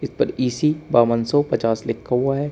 इस पर इ_सी बावन सौ पचास लिखा हुआ है।